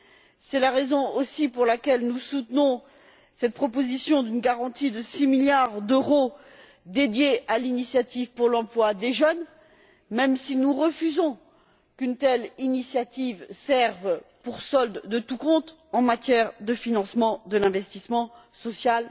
C'est aussi la raison pour laquelle nous soutenons cette proposition d'une garantie de six milliards d'euros dédiés à l'initiative pour l'emploi des jeunes, même si nous refusons qu'une telle initiative serve de solde de tout compte en matière de financement de l'investissement social.